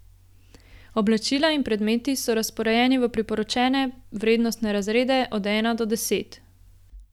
Oblačila in predmeti so razporejeni v priporočene vrednostne razrede od ena do deset.